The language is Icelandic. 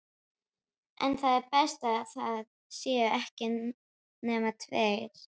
En það er best að það séu ekki nema tveir.